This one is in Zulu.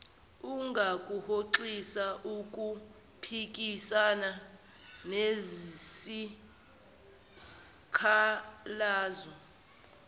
ungakuhoxisa ukuphikisana nesikhalazo